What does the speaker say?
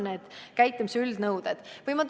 Mis on käitumise üldnõuded?